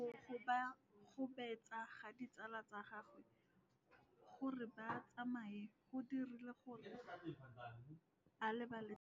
Go gobagobetsa ga ditsala tsa gagwe, gore ba tsamaye go dirile gore a lebale tšhelete.